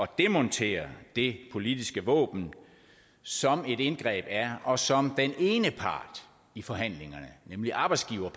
demontere det politiske våben som et indgreb er og som den ene part i forhandlingerne nemlig arbejdsgiverne